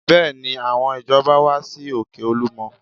Bẹ́ẹ̀ni, àwọn ìjọba wá sí òkè Olúmọ